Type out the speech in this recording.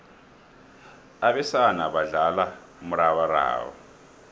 abesana badlala umrabaraba